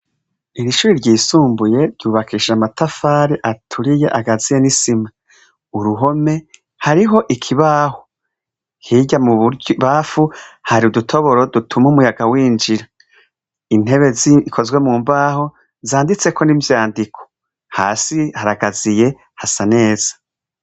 Iri shure ryisumbuye ryubakishije amatafari aturiye, agaziye n'isima. Uruhome, hariho ikibaho. Hirya mu bubamfu, hari udutoboro dutuma umuyaga winjira. Intebe zikozwe mu mbaho zanditseko n'ivyandiko. Hasi haragaziye, hasa neza.